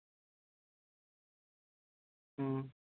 ਹਮ